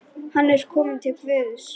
Hann er kominn til Guðs.